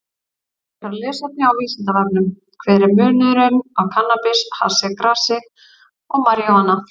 Frekara lesefni á Vísindavefnum: Hver er munurinn á kannabis, hassi, grasi og marijúana?